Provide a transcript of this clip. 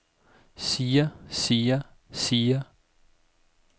siger siger siger